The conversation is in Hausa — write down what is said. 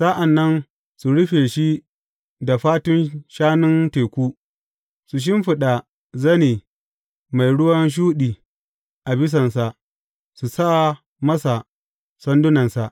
Sa’an nan su rufe shi da fatun shanun teku, su shimfiɗa zane mai ruwan shuɗi a bisansa, su sa masa sandunansa.